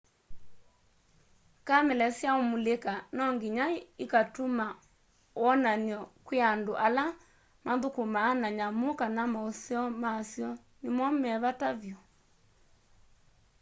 kamela syaũmulĩka nonginya ikatũma wonany'o kwĩ andũ ala mathũkũmanaa na nyamũ kana maũseo masyo nĩmo me vata vyũ